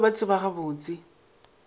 ba be ba tseba gabotse